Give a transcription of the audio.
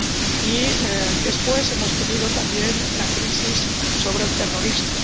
y, después, hemos tenido también la crisis sobre el terrorismo.